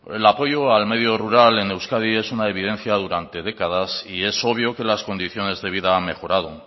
el apoyo al medio rural en euskadi es una evidencia durante décadas y es obvio que las condiciones de vida han mejorado